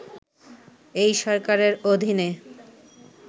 এই সরকারের অধীনে